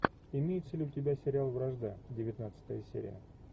имеется ли у тебя сериал вражда девятнадцатая серия